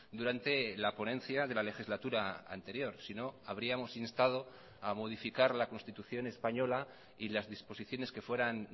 durante la ponencia de la legislatura anterior sino habríamos instado a modificar la constitución española y las disposiciones que fueran